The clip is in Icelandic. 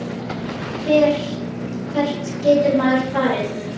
Hvert getur maður farið?